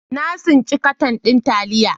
Na tsinci katan din taliya.